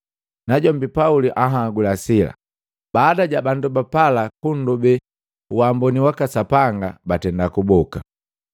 Najombi Pauli anhagula Sila, baada ja bandu ba pala kundobe uamboni waka Sapanga, batenda kuboka.